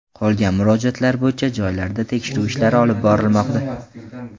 Qolgan murojaatlar bo‘yicha joylarda tekshiruv ishlari olib borilmoqda.